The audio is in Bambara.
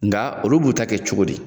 Nga olu b'u ta kɛ cogo di